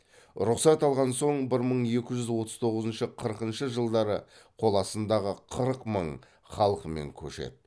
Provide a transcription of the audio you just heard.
рұқсат алған соң бір мың екі жүз отыз тоғызыншы қырқыншы жылдары қоластындағы қырық мың халқымен көшеді